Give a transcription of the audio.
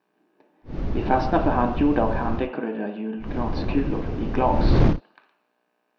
Vi fastnar för handgjorda och handdekorerade julgranskulor i glas.